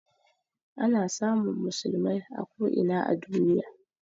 Ana samun musulmai a ko ina a duniya